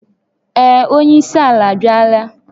Ee, onye isi ala abịala